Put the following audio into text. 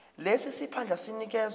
lesi siphandla sinikezwa